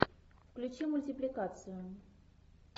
включи мультипликацию